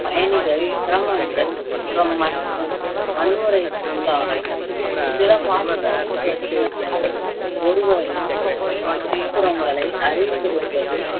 பயணிகள் சிரமங்கள் மற்றும் வன்முறைக்கு உள்ளாகலாம் பிற பாதுகாப்பு பரிசீலனைகள் ஒருவரையும் சுற்றுப்புறங்களை அறிந்திருப்பது